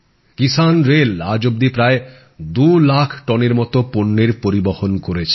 কিসানরেল আজ অবধি প্রায় 2 লাখ টনের মতো পণ্যের পরিবহন করেছে